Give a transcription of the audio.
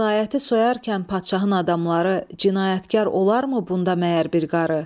Vilayəti soyarkən padşahın adamları cinayətkar olarmı bunda məgər bir qarı?